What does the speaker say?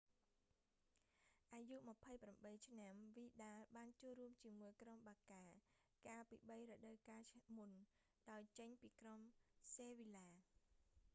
អាយុ 28 ឆ្នាំ វីដាល vidal បានចូលរួមជាមួយក្រុមបាកា barça កាលពីបីរដូវកាលមុន ដោយចេញពីក្រុមសេវីឡា sevilla ។